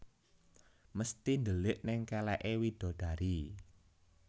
Mesti ndelik neng keleke widadari